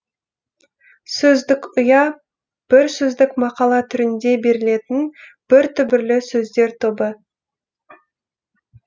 сөздік ұя бір сөздік мақала түрінде берілетін бір түбірлі сөздер тобы